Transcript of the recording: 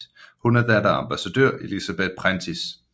Hun er datter af ambassadør Elizabeth Prentiss